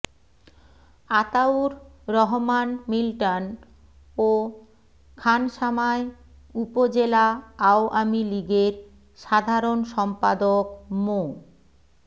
Ataur Rahman Milton ও খানসামায় উপজেলা আওয়ামী লীগের সাধারণ সম্পাদক মো